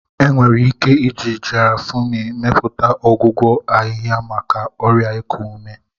Enwere ike iji Gaarafuni mepụta ọgwụgwọ ahịhịa maka ọrịa iku ume.